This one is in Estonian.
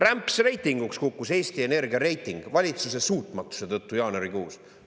Rämpsreitinguks kukkus Eesti Energia reiting valitsuse suutmatuse tõttu jaanuarikuus!